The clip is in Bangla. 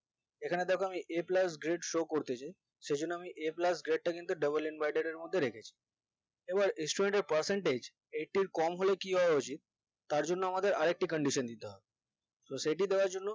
এখানে দেখো আমি a plus grade show করতেছি সে জন্য আমি a plus grade তা কিন্তু double inverted এর মধ্যে রেখেছি এবার student এর percentage eighty ইর কম হলে কি হওয়া উচিত তার জন্যে আমাদের আরেকটা candition দিতে হবে তো সেটি দেওয়ার জন্য